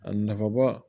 A nafa ba